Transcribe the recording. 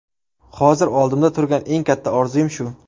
Hozir oldimda turgan eng katta orzuim shu.